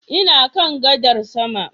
Ina kan gadar sama